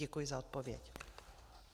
Děkuji za odpověď.